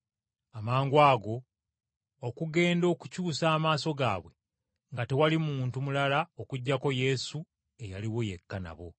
Amangwago okugenda okukyusa amaaso gaabwe nga tewali muntu mulala okuggyako Yesu eyaliwo yekka nabo.